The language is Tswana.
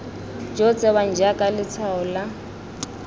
jo tsewang jaaka letshwao lo